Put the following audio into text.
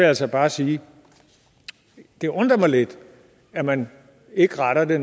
altså bare sige det undrer mig lidt at man ikke retter det